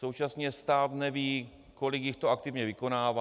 Současně stát neví, kolik jich to aktivně vykonává.